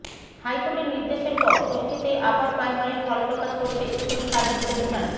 হাইকোর্টের নির্দেশের পর ষষ্ঠীতেই আপার প্রাইমারির ফলপ্রকাশ করছে স্কুল সার্ভিস কমিশন